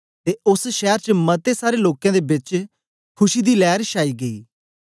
ते ओस शैर च मते सारे लोकें दे बेच खुशी दी लैर छाई गेई